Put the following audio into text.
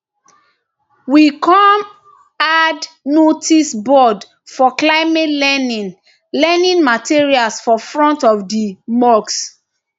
we kom add noticeboard for climate learning learning materials for front of di mosque